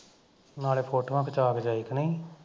ਨਾਲੇ ਫੋਟੋਆਂ ਖਿਚਾਅ ਕੇ ਜਾਏ ਕਿ ਨਹੀਂ